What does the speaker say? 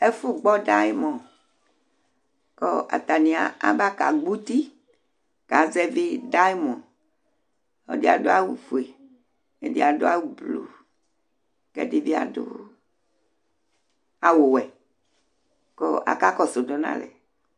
Ɛgbɔ dayɩmɔ kʋ atanɩ aba kagbɔ uti kazɛvɩ dayɩmɔ Ɔlɔdɩ adʋ awʋfue, ɛdɩ adʋ awʋblu kʋ ɛdɩ bɩ adʋ awʋwɛ kʋ akakɔsʋ dʋ nʋ alɛ